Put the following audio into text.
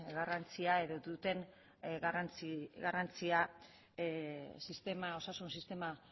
garrantzian edo duten garrantzia osasun sistema